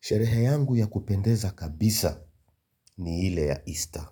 Sherehe yangu ya kupendeza kabisa ni ile ya easter.